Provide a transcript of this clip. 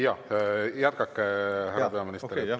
Jaa, jätkake, härra peaminister!